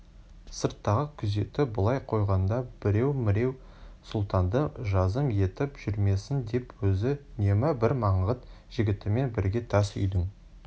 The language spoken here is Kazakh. сырттағы күзетті былай қойғанда біреу-міреу сұлтанды жазым етіп жүрмесін деп өзі үнемі бір маңғыт жігітімен бірге тас үйдің